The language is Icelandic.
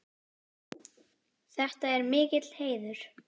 Þetta er mikill heiður.